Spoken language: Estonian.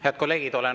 Head kolleegid!